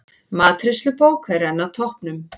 Matreiðslubók enn á toppnum